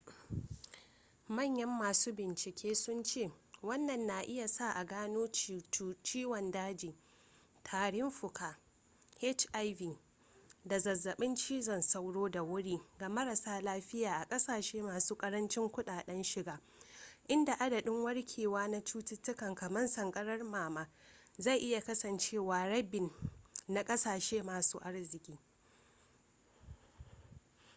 manyan masu bincike sun ce wannan na iya sa a gano ciwon daji tarin fuka hiv da zazzaɓin cizon sauro da wuri ga marasa lafiya a ƙasashe masu ƙarancin kuɗaɗen shiga inda adadin warkewa na cututtuka kamar sankarar nono zai iya kasancewa rabin na ƙasashe masu arziki